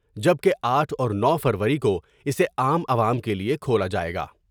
جبکہ آٹھ اور نو فروری کو اسے عام عوام کے لئے کھولا جائے گا ۔